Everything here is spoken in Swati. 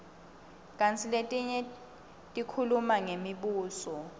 kantsi letinye tikhuluma ngemibuso